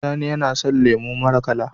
Sani yAna son lemo mara kala